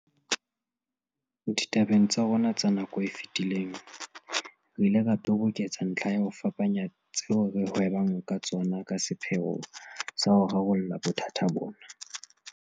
Ditabeng tsa rona tsa nako e fetileng, re ile ra toboketsa ntlha ya ho fapanya tseo re hwebang ka tsona ka sepheo sa ho rarolla bothata bona.